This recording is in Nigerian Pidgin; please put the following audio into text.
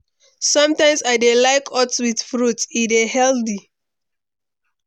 Sometimes I dey like oats with fruits; e dey healthy.